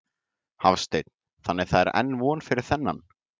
Hafsteinn: Þannig það er enn von fyrir þennan?